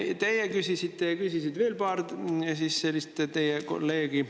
Teie küsisite ja küsis veel paar teie kolleegi.